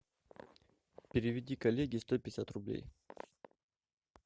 переведи коллеге сто пятьдесят рублей